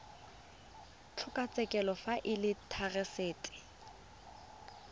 kgotlatshekelo fa e le therasete